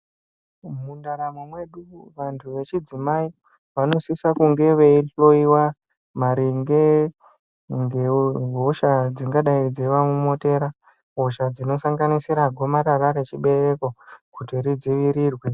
Mundaramo mwedu vantu vechidzimai vanosisa kunge vachinhloyiwa maringe ngehosha dzingadai dzeiamomotera hosha dzinosanganisira gomarara rechibereko kuti ridziirirwe.